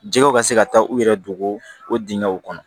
Jɛgɛw ka se ka taa u yɛrɛ dogo o dingɛnw kɔnɔ